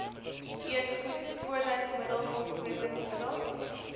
eetgoed skoonheidsmiddels ontsmettingsmiddels